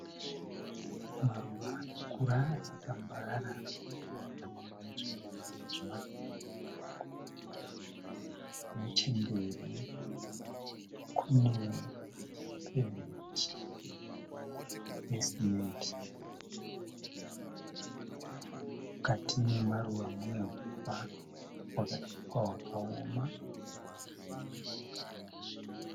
Maruva anokura achitambarara akadyarwa. Nechemberi kune pevhumendi yesimendi. Mukati nemaruva munehuswa hwakawoma